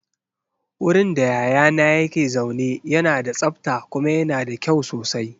Wurin da yayana yake zaune yana da tsabta kuma yana da kyau sosai.